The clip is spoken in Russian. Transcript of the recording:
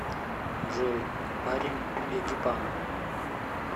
джой парень эгипан